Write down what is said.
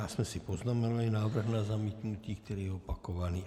Já jsem si poznamenal návrh na zamítnutí, který je opakovaný.